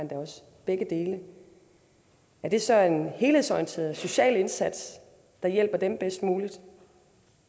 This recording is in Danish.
begge dele er det så en helhedsorienteret social indsats der hjælper dem bedst muligt